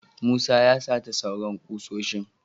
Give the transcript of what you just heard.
Musa ya sata sauran kusoshin.